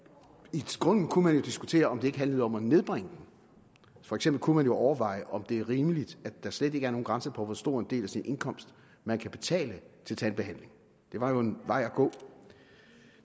i grunden kunne man jo diskutere om det ikke handlede om at nedbringe den for eksempel kunne man overveje om det er rimeligt at der slet ikke er nogen grænse på hvor stor en del af sin indkomst man kan betale til tandbehandling det var jo en vej at gå